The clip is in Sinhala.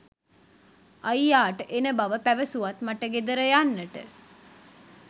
අයියා ට එන බව පැවසුවත් මට ගෙදර යන්නට